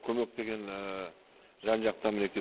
көмек деген жан жақтан мінекей